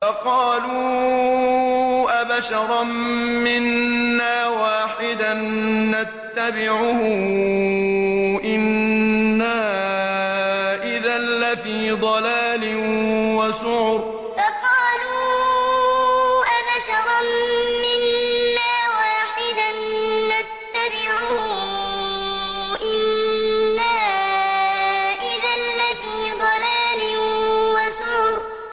فَقَالُوا أَبَشَرًا مِّنَّا وَاحِدًا نَّتَّبِعُهُ إِنَّا إِذًا لَّفِي ضَلَالٍ وَسُعُرٍ فَقَالُوا أَبَشَرًا مِّنَّا وَاحِدًا نَّتَّبِعُهُ إِنَّا إِذًا لَّفِي ضَلَالٍ وَسُعُرٍ